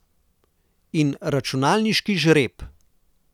In računalniški žreb.